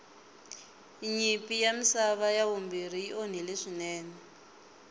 nyimpi ya misava ya vumbirhi yi onhile swinene